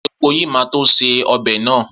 Epo yìí máa tó se ọbè náà.